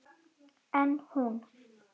En hún.